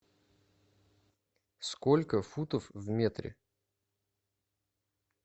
сколько футов в метре